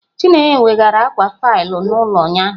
Chineye weghaara akwa faịlụ n'ụlọ ụnyahụ